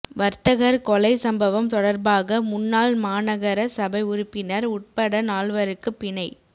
வர்தகர் கொலை சம்பவம் தொடர்பாக முன்னாள் மாநகர சபை உறுப்பினர் உட்பட நால்வருக்கு பிணை